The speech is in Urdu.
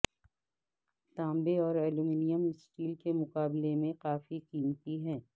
تانبے اور ایلومینیم سٹیل کے مقابلے میں کافی قیمتی ہیں